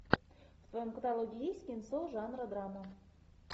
в твоем каталоге есть кинцо жанра драма